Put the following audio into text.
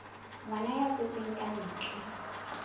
ngwana a tswetswe ka ntle